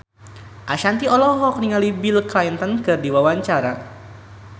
Ashanti olohok ningali Bill Clinton keur diwawancara